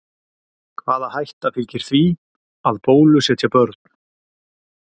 Hvaða hætta fylgir því að bólusetja börn?